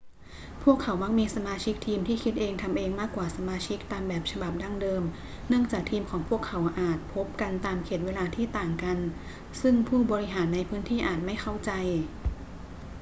พวกเขามักมีสมาชิกทีมที่คิดเองทำเองมากกว่าสมาชิกตามแบบฉบับดั้งเดิมเนื่องจากทีมของพวกเขาอาจพบกันตามเขตเวลาที่ต่างกันซึ่งผู้บริหารในพื้นที่อาจไม่เข้าใจ